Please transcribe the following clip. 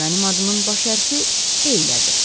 Mənim adımın baş hərfi Eylədir.